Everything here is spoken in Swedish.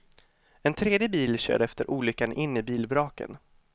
En tredje bil körde efter olyckan in i bilvraken.